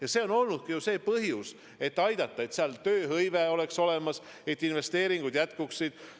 Ja põhjus ongi soov aidata, et seal tööhõive oleks olemas, et investeeringud jätkuksid.